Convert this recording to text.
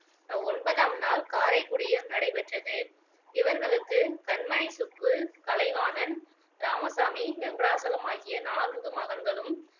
ஒன்பதாம் நாள் காரைக்குடியில் நடைபெற்றது இவர்களுக்கு கண்மணிசுப்பு, கலைவாணன், ராமசாமி, வெங்கடாசலம் ஆகிய நான்கு மகன்களும்